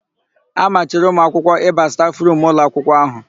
A machiri ụmụakwụkwọ ịba stafụrumu ụlọakwụkwọ áhụ̀.